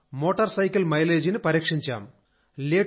సార్మోటార్ cycle మైలేజీని పరీక్షించాం